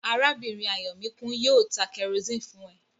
Arábìnrin Ayọ̀míkún yóò ta kẹrosíni fún ẹ